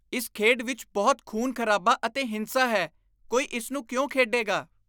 ਇਸ ਖੇਡ ਵਿੱਚ ਬਹੁਤ ਖੂਨ ਖ਼ਰਾਬਾ ਅਤੇ ਹਿੰਸਾ ਹੈ। ਕੋਈ ਇਸ ਨੂੰ ਕਿਉਂ ਖੇਡੇਗਾ?